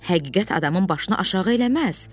Həqiqət adamın başını aşağı eləməz.